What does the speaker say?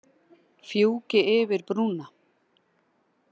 Fjúki yfir brúna.